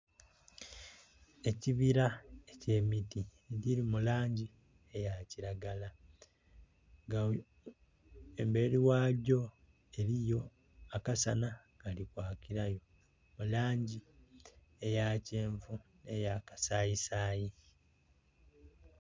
Ekibira ekye miti egiri mu langi eya kilagala nga emberi ghagyo eriyo akasana akali kwakirayo mu langi eya kyenvu ne ya kasayi sayi.